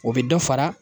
O bɛ dɔ fara